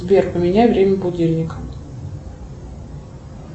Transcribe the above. сбер поменяй время будильника